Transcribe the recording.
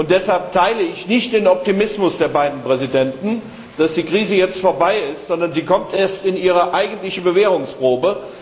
Deshalb teile ich nicht den Optimismus der beiden Präsidenten, dass die Krise jetzt vorbei ist, sondern sie kommt erst in ihre eigentliche Bewährungsprobe.